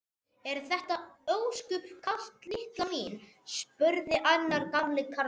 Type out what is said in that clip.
Er þér ósköp kalt litla mín? spurði annar gamli karlinn.